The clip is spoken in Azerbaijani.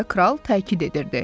deyə kral təkid edirdi.